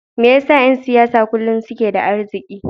Me yasa ’yan siyasa kullum suke da arziki?